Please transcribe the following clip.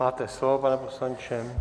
Máte slovo, pane poslanče.